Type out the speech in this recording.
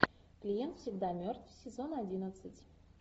клиент всегда мертв сезон одиннадцать